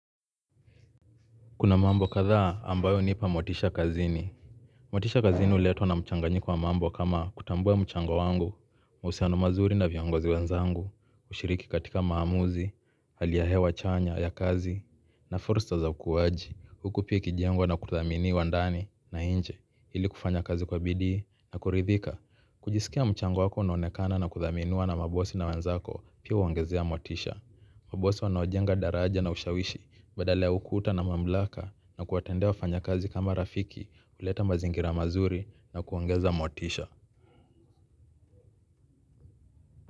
Kuna mambo kadhaa ambayo unipa motisha kazini. Motisha kazini uletwa na mchanganyiko wa mambo kama kutambua mchango wangu. Mahusiano mazuri na vyongozi wenzangu. Ushiriki katika maamuzi. Hali ya hewa chanya ya kazi na forsa za ukuwaji huku pia ikijengwa na kuthamini wa ndani na inje ili kufanya kazi kwa bidii na kuridhika kujisikia mchango wako unaonekana na kuthaminiwa na mabosi na wenzako. Pia uongezea motisha. Mabosi wanaojenga daraja na ushawishi. Badala ya ukuta na mamlaka na kuwatendea wafanya kazi kama rafiki huleta mazingira mazuri na kuongeza motisha.